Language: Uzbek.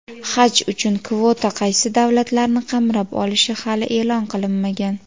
Haj uchun kvota qaysi davlatlarni qamrab olishi hali e’lon qilinmagan.